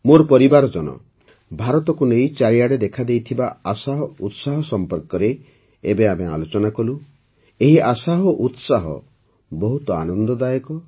ମୋର ପରିବାରଜନ ଭାରତକୁ ନେଇ ଚାରିଆଡ଼େ ଦେଖାଦେଇଥିବା ଆଶା ଓ ଉତ୍ସାହ ସମ୍ପର୍କରେ ଏବେ ଆମେ ଆଲୋଚନା କଲୁ ଏହି ଆଶା ଓ ଉତ୍ସାହ ବହୁତ ଆନନ୍ଦଦାୟକ